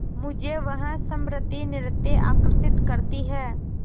मुझे वह स्मृति नित्य आकर्षित करती है